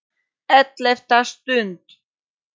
ELLEFTA STUND